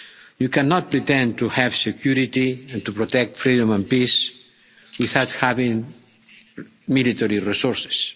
You cannot pretend to have security, and to protect freedom and peace, without having military resources.